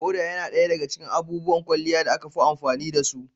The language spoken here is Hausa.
Foda yana ɗaya daga cikin abubuwan kwalliyan fuska da aka fi amfani da su.